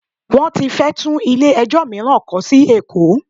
Wọ́n ti fẹ́ tún ilé ẹjọ́ mìíràn kọ́ sí Èkó.